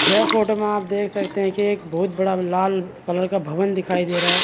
यह फोटो में आप देख सकते हैं कि एक बहुत बड़ा लाल कलर का भवन दिखाई दे रहा है।